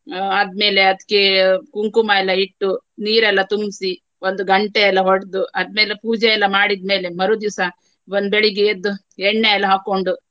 ಆ ಆದ್ಮೇಲೆ ಅದಕ್ಕೆ ಕುಂಕುಮ ಎಲ್ಲಾ ಇಟ್ಟು ನೀರೆಲ್ಲಾ ತುಂಬ್ಸಿ ಒಂದು ಗಂಟೆಯೆಲ್ಲ ಹೊಡ್ದು ಆದ್ಮೇಲೆ ಪೂಜೆ ಎಲ್ಲಾ ಮಾಡಿದ್ಮೇಲೆ ಮರುದಿವಸ ಒಂದ್ ಬೆಳಿಗ್ಗೆ ಎದ್ದು ಎಣ್ಣೆ ಎಲ್ಲಾ ಹಾಕ್ಕೊಂಡು.